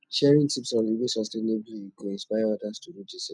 sharing tips on living sustainably go inspire others to do di same